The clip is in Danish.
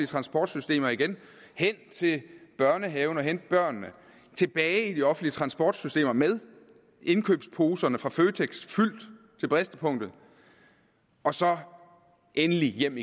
transportsystemer igen hen til børnehaven og hente børnene tilbage i de offentlige transportsystemer med indkøbsposerne fra føtex fyldt til bristepunktet og så endelig hjem